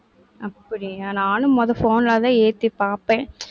அப்படியா? நானும் முத phone லதான் ஏத்திப் பார்ப்பேன்.